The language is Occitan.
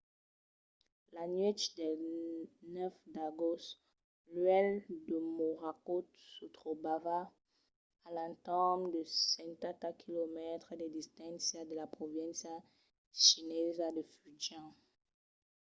la nuèch del 9 d’agost l'uèlh de morakot se trobava a l’entorn de setanta quilomètres de distància de la provincia chinesa de fujian